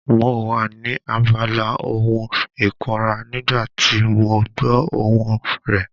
Mo wà ní abala ohun ìkunra nígbà tí mo gbọ́ ohùn rẹ.